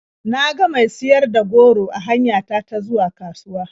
Na ga mai siyar da goro a hanya ta ta zuwa kasuwa.